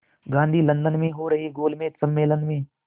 Gandhi London में हो रहे गोलमेज़ सम्मेलन में